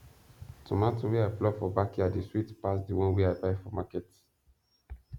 tomato wey i pluck for backyard dey sweet pass the one wey i buy for market